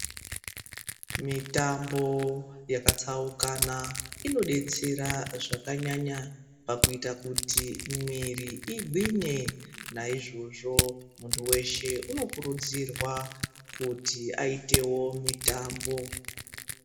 Mitambo yakatsaukana inodetsera zvakanyanya pakuita kuti mwiri igwinye naizvozvo muntu weshe unokurudzirwa kuti aitewo mutambo.